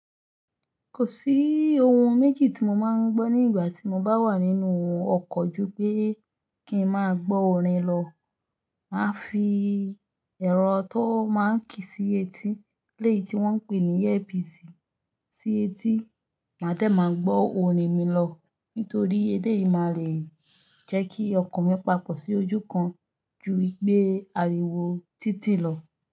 Kò sí ohun méjì tí mo máa ń gbọ́ ní ìgbà tí mo bá wà nínú ọkọ̀ ju pé kí n máa gbọ́ orin lọ. Màá fi ẹ̀rọ tó máa ń kì í sí etí, ilé yìí tí wọ́n ń pè ní earpiece sí etí, màá dẹ̀ máa gbọ́ orin mi lọ nítorí ele yìí máa le jẹ́ kí ọkàn mi papọ̀ sí ojú kan ju ìgbé ariwo títì lọ.